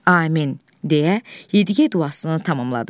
Amin deyə Yediqey duasını tamamladı.